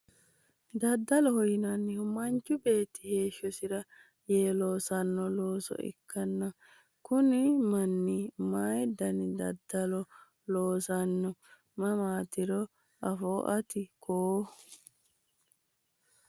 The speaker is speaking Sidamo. daddaloho yinannihu manchu beetti heeshshosira yee loosanno looso ikkanna, kuni manni mayi dani daddalo loosanno mannaatiro afootto ati koo ?